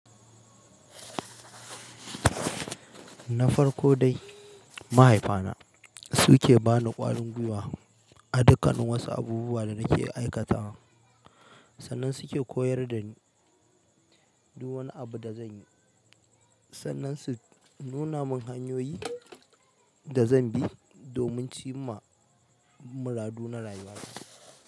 Nafarko dai mahaifa na su ke ba ni ƙwarin gwiwa a dukkan wasu abubuwa da nake aikatawa, sannan su ke koyar da ni duk wani abu da zanyi, sannan su nuna min hanyoyi da zan bi domin cimma muradu na rayuwa.